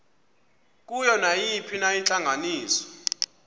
kuyo nayiphina intlanganiso